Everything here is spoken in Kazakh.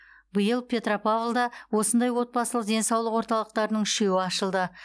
биыл петропавлда осындай отбасылық денсаулық орталықтарының үшеуі ашылды